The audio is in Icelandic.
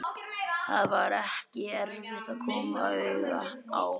Það var ekki erfitt að koma auga á